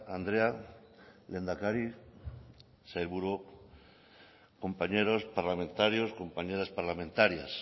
andrea lehendakari sailburuok compañeros parlamentarios compañeras parlamentarias